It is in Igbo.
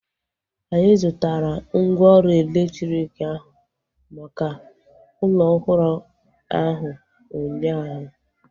Anyị zụtara mgwooru elektriki ahu maka ụlọ ọhụrụ ahu ụnyaahụ